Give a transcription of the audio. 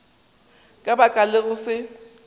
ka baka la go se